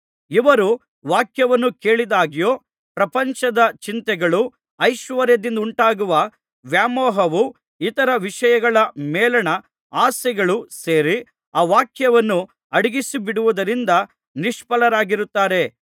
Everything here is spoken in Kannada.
ಇವರು ವಾಕ್ಯವನ್ನು ಕೇಳಿದಾಗ್ಯೂ ಪ್ರಪಂಚದ ಚಿಂತೆಗಳೂ ಐಶ್ವರ್ಯದಿಂದುಂಟಾಗುವ ವ್ಯಾಮೋಹವೂ ಇತರ ವಿಷಯಗಳ ಮೇಲಣ ಆಸೆಗಳೂ ಸೇರಿ ಆ ವಾಕ್ಯವನ್ನು ಅಡಗಿಸಿಬಿಡುವುದರಿಂದ ನಿಷ್ಫಲರಾಗಿರುತ್ತಾರೆ